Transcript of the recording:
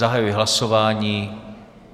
Zahajuji hlasování.